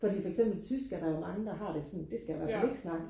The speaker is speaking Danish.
fordi for eksempel tysk er der jo mange der har det sådan det skal jeg ihvertfald ikke snakke